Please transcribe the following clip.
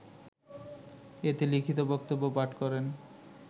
এতে লিখিত বক্তব্য পাঠ করেন